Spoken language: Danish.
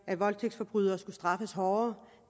at voldtægtsforbrydere netop skulle straffes hårdere